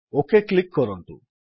okay click କରନ୍ତୁ